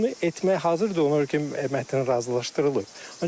Bunu etmək hazırdır, onu ki mətn razılaşdırılıb.